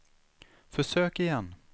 försök igen